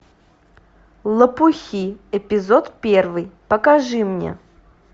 лопухи эпизод первый покажи мне